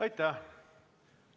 Aitäh!